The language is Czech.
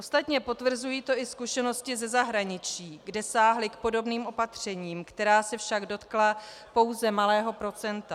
Ostatně potvrzují to i zkušenosti ze zahraničí, kde sáhli k podobným opatřením, která se však dotkla pouze malého procenta.